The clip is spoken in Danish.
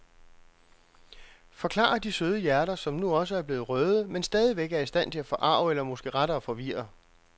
Forklarer de søde hjerter, som nu også er blevet røde, men stadigvæk er i stand til at forarge eller måske rettere forvirre.